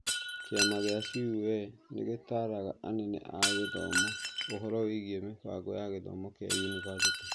Kíama gĩa CUE ni gĩtaaraga anene a gĩthomo ũhoro wĩgiĩ mĩbango ya gĩthomo kĩa yunibathĩtĩ